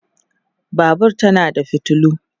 Babur tana da fitilu